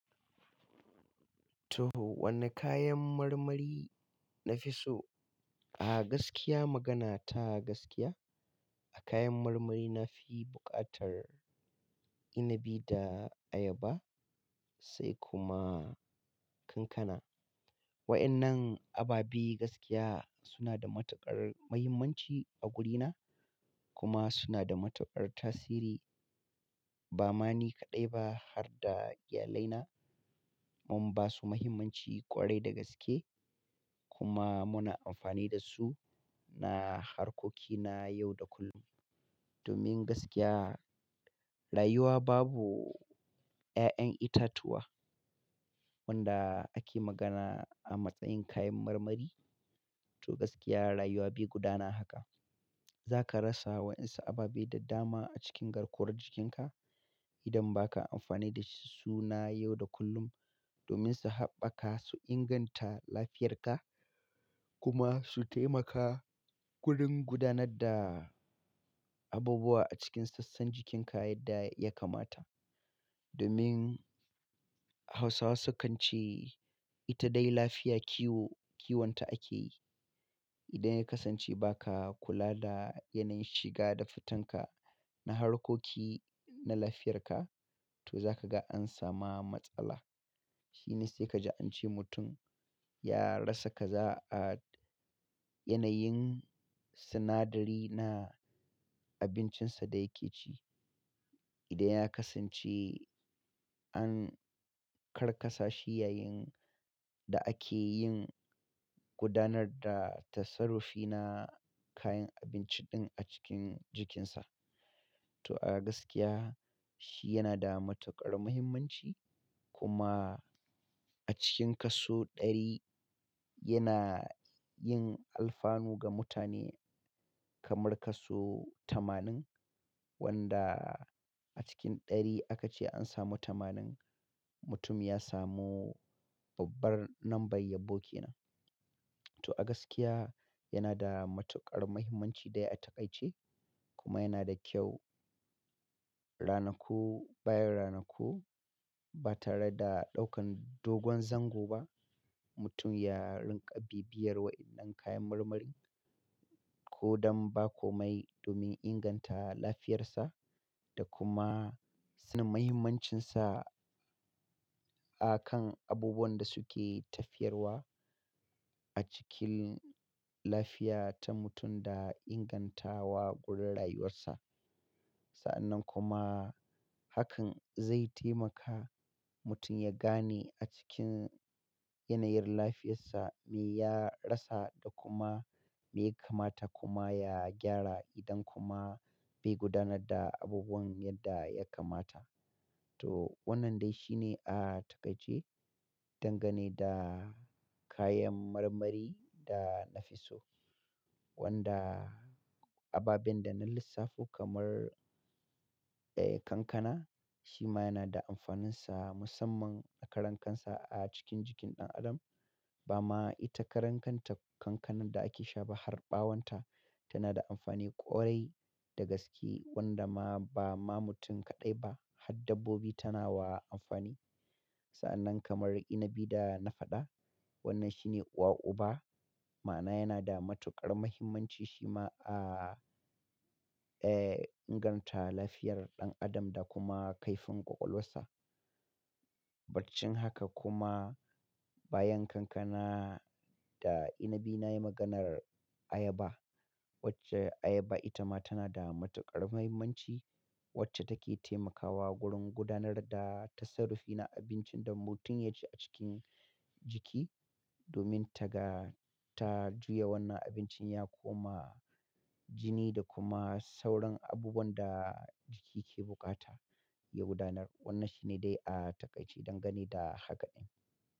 To, wane kayan marmari na fi so? A gaskiya magana ta gaskiya, a kayan marmari na fi buƙatar Inibi da Ayaba sai kuma Kankana. Waɗannan ababe gaskiya suna da matuƙar muhimmanci a wurina kuma suna da matuƙar tasiri ba ma ni kaɗai ba har da iyalaina. Mun ba su muhimmanci ƙwarai da gaske kuma muna amfani da su na harkoki na yau da kullum. Domin gaskiya, rayuwa babu ƴaƴan itatuwa wanda ake magana a matsayin kayan marmari. To gaskiya rayuwa bai gudana haka. Za ka rasa waɗansu ababe da dama a cikin garkuwar jikinka idan ba ka amfani da su na yau da kullum domin su haɓaka su inganta lafiyarka kuma su taimaka wurin gudanar da abubuwa a cikin sassan jikinka yadda ya kamata. Domin Hausawa sukan ce, "Ita dai lafiya kiwo, kiwonta ake yi." Idan ya kasance ba ka kula da yanayin shiga da fitanka na harkoki na lafiyarka, to za ka ga an samu matsala. Shi ne sai ka ji an ce mutum ya rasa kaza a yanayin sinadari na abincinsa da yake ci. Idan ya kasance an karkasa shi yayin da ake yin gudanar da tassarufi na kayan abinci ɗin a cikin jikinsa. To a gaskiya, shi yana da matuƙar muhimmanci kuma a cikin kaso ɗari yana yin alfanu ga mutane kamar kaso tamanin wanda a cikin ɗari aka ce an samu tamanin. Mutum ya samu babbar lambar yabo kenan. To a gaskiya yana da matuƙar muhimmanci dai a takaice kuma yana da kyau ranaku bayan ranaku ba tare da ɗaukan dogon zango ba. Mutum ya rinƙa bibiyar waɗannan kayan marmarin ko don ba komai domin inganta lafiyarsa da kuma sanin muhimmancinsa a kan abubuwan da suke tafiyarwa a cikin lafiya ta mutum da ingantawa gurin rayuwarsa. Sa'annan kuma hakan zai taimaka mutum ya gane a cikin yanayin lafiyarsa me ya rasa da kuma me ya kamata kuma ya gyara idan kuma bai gudanar da abubuwan yadda ya kamata. To wannan dai shi ne a takaice dangane da kayan marmari da na fi so. Wanda ababen da na lissafo kamar, eh, Kankana shi ma yana da amfaninsa musamman da karan kansa a cikin jikin ɗan adam. Ba ma ita karan kanta Kankanan da ake sha ba har ɓawonta tana da amfani ƙwarai da gaske wanda ma ba ma mutum kaɗai ba har dabbobi tana wa amfani. Sa'annan kamar Inibi da na faɗa, wannan shi ne uwa uba ma'ana yana da matuƙar muhimmanci shi ma a, eh, inganta lafiyar ɗan adam da kuma kaifin ƙwaƙwalwarsa. Barcin haka kuma bayan Kankana da Inibi na yi maganar Ayaba. Wacce Ayaba ita ma tana da matuƙar muhimmanci wacce take taimakawa wurin gudanar da tassarufi na abincin da mutum ya ci a cikin jiki domin taga ta juya wannan abincin ya koma jini da kuma sauran abubuwan da jiki ke buƙata ya gudanar. Wannan shi ne dai a takaice dangane da haka ɗin.